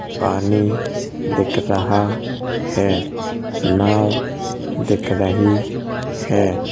पानी दिख रहा है नाँव दिख रही है।